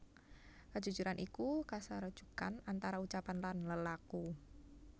Kajujuran iku kasarujukan antara ucapan lan lelaku